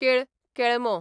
केळ, केळमो